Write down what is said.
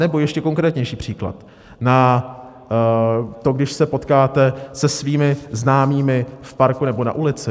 Anebo ještě konkrétnější příklad, na to, když se potkáte se svými známými v parku nebo na ulici?